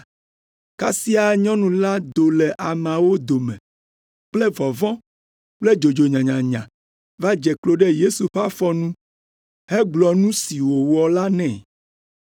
Kasia nyɔnu la do le ameawo dome kple vɔvɔ̃ kple dzodzo nyanyanya va dze klo ɖe Yesu ƒe afɔ nu hegblɔ nu si wòwɔ la nɛ.